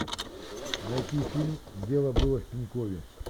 найти фильм дело было в пенькове